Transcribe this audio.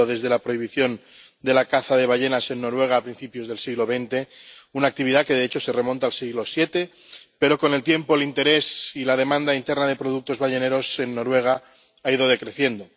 ha llovido desde la prohibición de la caza de ballenas en Noruega a principios del siglo XX, una actividad que, de hecho, se remonta al siglo VII, pero, con el tiempo, el interés y la demanda interna de productos balleneros en Noruega ha ido decreciendo.